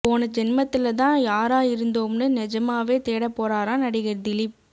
போன ஜென்மத்துல தான் யாரா இருந்தோம்னு நெஜமாவே தேடப் போறாராம் நடிகர் தீலிப்